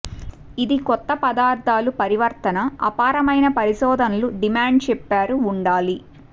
ఇది కొత్త పదార్థాలు పరివర్తన అపారమైన పరిశోధనలు డిమాండ్ చెప్పారు ఉండాలి